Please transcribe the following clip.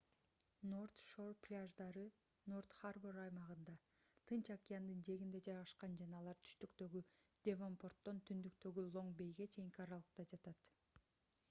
норт-шор пляждары норт-харбор аймагында тынч океандын жээгинде жайгашкан жана алар түштүктөгү девонпорттон түндүктөгү лонг-бейге чейинки аралыкта жатат